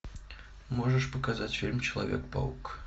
можешь показать фильм человек паук